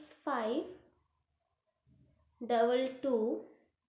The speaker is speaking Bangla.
S ix five double two.